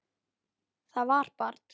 Það var barn.